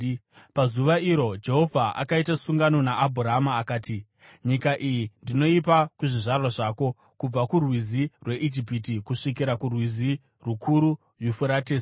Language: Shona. Pazuva iro, Jehovha akaita sungano naAbhurama akati, “Nyika iyi ndinoipa kuzvizvarwa zvako, kubva kurwizi rweIjipiti kusvikira kurwizi rukuru, Yufuratesi,